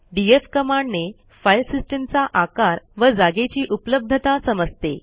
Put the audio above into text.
DF कमांडने file सिस्टीमचा आकार व जागेची उपलब्धता समजते